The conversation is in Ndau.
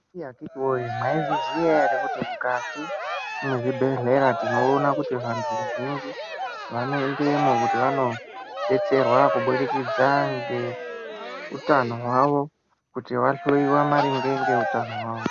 Iii akiti woye mai zviziya ere kuti mukati me zvibhedhleya tinoona kuti vatu vazhinji vano endemo kuti vano detserwa kubudikidza ngeu tano hwawo kuti va hloyiwe maringe nge utano hwawo.